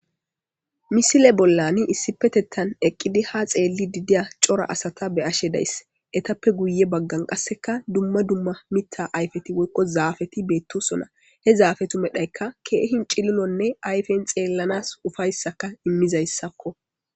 Misile bollani issipetettan eqqidi ha xeelli didiya cora asata be ashe dayss etappe guye baggan qasseka dumma dumma mitta ayfeti woykko zaafeti beettosona he zaafe tu medhaykka keehin cililonne ayfen xeellanas ufayssaka immizayssakko.